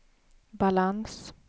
balans